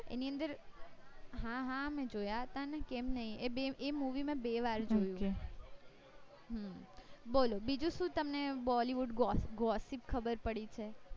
એની અંદર હાહા મેં જોયા હતા ને કેમ નય એ બી એ movie મેં બે વાર જોયું હમ નોલું બીજું શું તમને bollywood gossip ખબર પડી છે